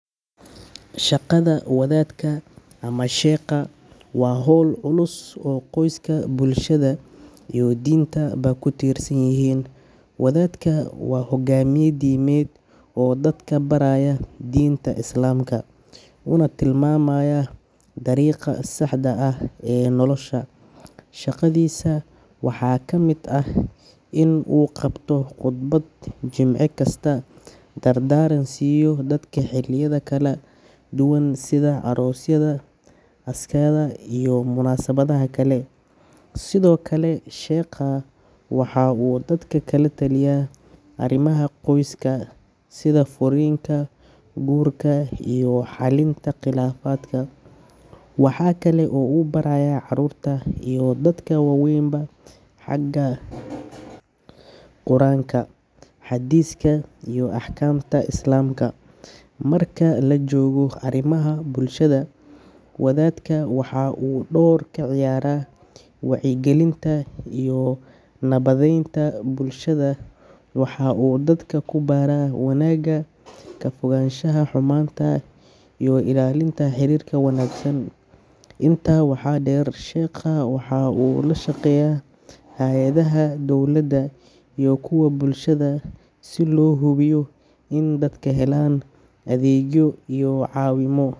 Shaqada wadaadka ama sheekha waa hawl culus oo qoyska, bulshada iyo diinta ba ku tiirsan yihiin. Wadaadka waa hogaamiye diimeed oo dadka baraya diinta Islaamka, una tilmaamaya dariiqa saxda ah ee nolosha. Shaqadiisa waxaa ka mid ah in uu qabto khudbad jimce kasta, dardaaran siiyo dadka xilliyada kala duwan sida aroosyada, aaskyada iyo munaasabadaha kale. Sidoo kale, sheekhu waxa uu dadka kala taliyaa arimaha qoyska, sida furriinka, guurka, iyo xallinta khilaafaadka. Waxa kale oo uu barayaa caruurta iyo dadka waaweyn xagga quraanka, xadiiska iyo axkaamta Islaamka. Marka la joogo arrimaha bulshada, wadaadku waxa uu door ka ciyaaraa wacyigelinta iyo nabadaynta bulshada. Waxa uu dadka ku baraa wanaagga, ka fogaanshaha xumaanta iyo ilaalinta xiriirka wanaagsan. Intaa waxaa dheer, sheekhu waxa uu la shaqeeyaa hay’adaha dawladda iyo kuwa bulshada si loo hubiyo in dadku helaan adeegyo iyo caawimo.